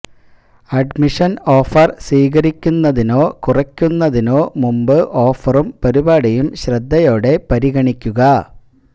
admission offer സ്വീകരിക്കുന്നതിനോ കുറയ്ക്കുന്നതിനോ മുമ്പ് ഓഫറും പരിപാടിയും ശ്രദ്ധയോടെ പരിഗണിക്കുക